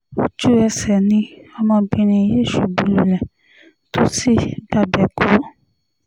ojú-ẹsẹ̀ ni obìnrin yìí ṣubú lulẹ̀ tó sì gbabẹ̀ kú